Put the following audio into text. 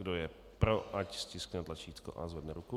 Kdo je pro, ať stiskne tlačítko a zvedne ruku.